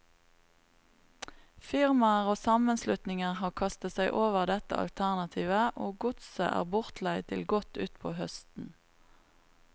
Firmaer og sammenslutninger har kastet seg over dette alternativet, og godset er bortleid til godt utpå høsten.